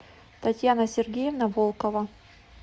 татьяна сергеевна волкова